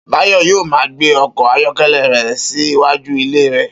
Bayò̩ yóò máa gbé o̩kò̩ ayó̩ké̩lé̩ rè̩ sí iwájú ilé rè̩